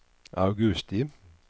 augusti